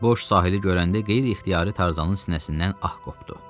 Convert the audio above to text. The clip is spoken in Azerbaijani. Boş sahili görəndə qeyri-ixtiyari Tarzanın sinəsindən ah qopdu.